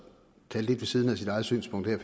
talte lidt ved siden af sit eget synspunkt her